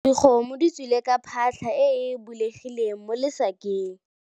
Dikgomo di tswile ka phatlha e e bulegileng mo lesakeng.